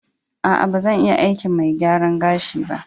A'a, ba zan iya aikin mai gyaran gashi ba.